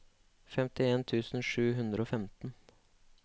femtien tusen sju hundre og femten